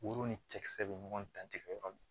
Woro ni cɛkisɛ bɛ ɲɔgɔn dan tigɛ yɔrɔ min